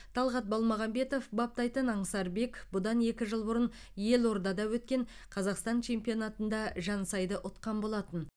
талғат балмағамбетов баптайтын аңсарбек бұдан екі жыл бұрын елордада өткен қазақстан чемпионатында жансайды ұтқан болатын